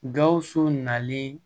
Gawusu nalen